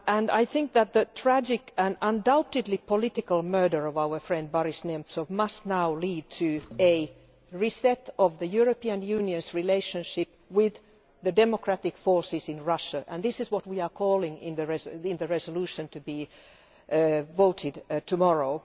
I think that the tragic and undoubtedly political murder of our friend Boris Nemtsov must now lead to a reset of the European Union's relationship with the democratic forces in Russia, and this is what we are calling for in the resolution to be voted on tomorrow.